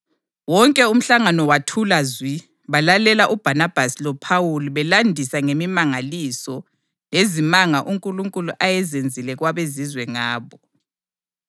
Wonke umhlangano wathula zwi balalela uBhanabhasi loPhawuli belandisa ngemimangaliso lezimanga uNkulunkulu ayezenzile kwabeZizwe ngabo.